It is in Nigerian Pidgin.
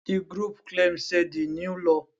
di group claim say di new law